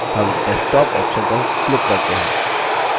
हम desktop option पर click करते हैं